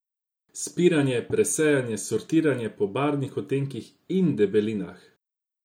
Spiranje, presejanje, sortiranje po barvnih odtenkih in debelinah?